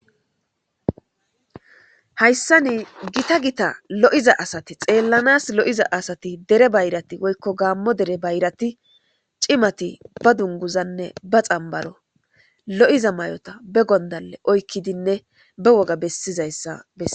hayssa ni gita gita lo7iza asati xeellanas lo7iza asati dere bayrati woykko gaammo dere bayrati cimati ba dunguzanne ba xambaro lo7iza may7ota be gondale oykkidinne be woga bessizayssa besse